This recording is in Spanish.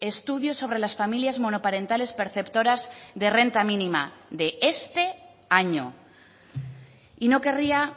estudios sobre las familias monoparentales perceptoras de renta mínima de este año y no querría